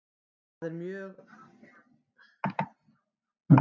Það er mörg hjón hérna.